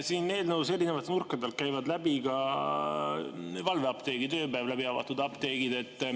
Siit eelnõust käivad erinevate nurkade alt läbi ka valveapteegid, ööpäev läbi avatud apteegid.